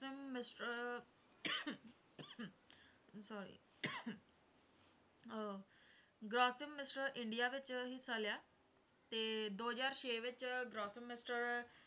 mister sorry uh mister India ਵਿੱਚ ਹਿੱਸਾ ਲਿਆ, ਤੇ ਦੋ ਹਜ਼ਾਰ ਛੇ ਵਿੱਚ mister